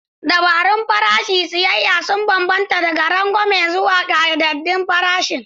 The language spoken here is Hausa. Dabarun farashin siyayya sun bambanta daga rangwame zuwa ƙayyadaddun farashin.